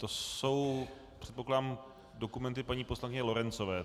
To jsou, předpokládám, dokumenty paní poslankyně Lorencové.